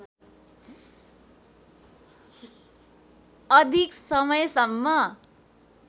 अधिक समयसम्म